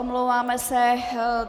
Omlouváme se.